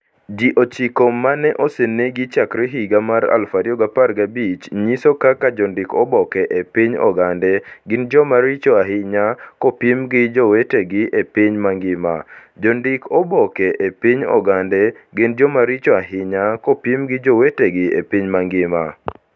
Ji ochiko ma osenegi chakre higa mar 2015 nyiso kaka jondik oboke e piny Ogande gin joma richo ahinya kopim gi jowetegi e piny mangima. Jondik oboke e piny Ogande gin joma richo ahinya kopim gi jowetegi e piny mangima.